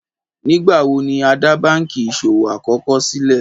Nígbàwọ̀ ni á dá bankí iṣọwọ̀ àkọ́kọ̀ sílé?